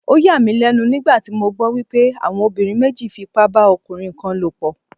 Ó yà mí lẹ́nu nígbà tí mo gbọ́ wípé àwọn obìnrin méjì fi ipá bá ọmọkùnrin kan lò pọ̀.